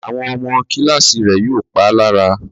Àwọn ọmọ Kíláàsì rẹ̀ yóò pá lára